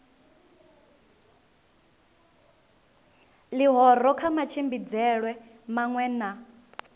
ḽihoro kha matshimbidzelwe maṅwe na